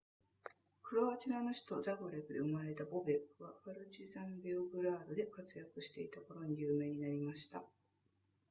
クロアチアの首都ザグレブで生まれたボベックはパルチザンベオグラードで活躍していた頃に有名になりました